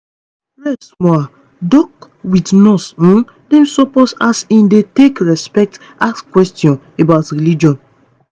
rest smallah doc with nurse um dem supposeas in dey take respect ask questions about religion.